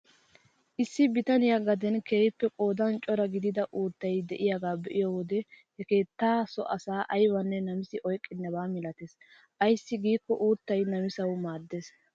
Issi bitaniyaa gaden keehippe qoodan cora gidida uuttay de'iyaagaa be'iyoo wode he keettaa so asa aybanne namisi oyqqenaba milatees ayssi giikko uuttay namisawu maaddees.